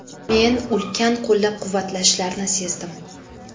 Men ulkan qo‘llab-quvvatlashlarni sezdim.